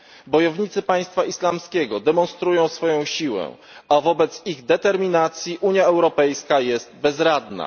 Bojownicy Państwa Islamskiego demonstrują swoją siłę, a wobec ich determinacji Unia Europejska jest bezradna.